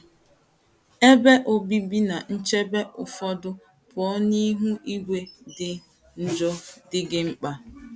Ebe obibi na nchebe ụfọdụ pụọ n’ihu igwe dị njọ, dị gị mkpa.